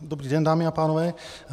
Dobrý den, dámy a pánové.